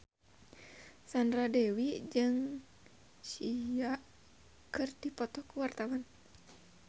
Sandra Dewi jeung Sia keur dipoto ku wartawan